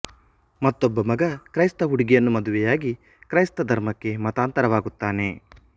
ಮತ್ತೊಬ್ಬ ಮಗ ಕ್ರೈಸ್ತ ಹುಡುಗಿಯನ್ನು ಮದುವೆಯಾಗಿ ಕ್ರೈಸ್ತ ಧರ್ಮಕ್ಕೆ ಮತಾಂತರವಾಗುತ್ತಾನೆ